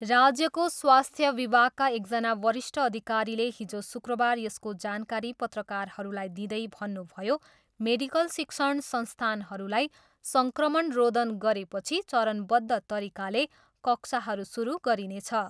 राज्यको स्वास्थ्य विभागका एकजना वरिष्ठ अधिकारीले हिजो शुक्रबार यसको जानकारी पत्रकारहरूलाई दिँदै भन्नुभयो, मेडिकल शिक्षण संस्थानहरूलाई सङ्क्रमण रोधन गरेपछि चरणबद्ध तरिकाले कक्षाहरू सुरु गरिनेछ।